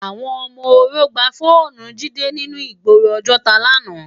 Awòn òmò óró gbá fónù Jide ninú igbóró Ojota làná